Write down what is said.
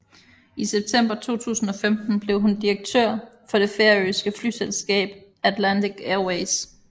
I september 2015 blev hun direktør for det færøske flyselskab Atlantic Airways